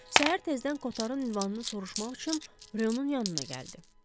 Səhər tezdən Kotarın ünvanını soruşmaq üçün Rounun yanına gəldi.